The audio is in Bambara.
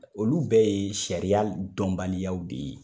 Olu bɛɛ ye sariya dɔnbaliyaw de ye.